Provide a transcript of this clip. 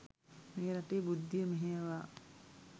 මේ රටේ බුද්ධිය මෙහෙයවා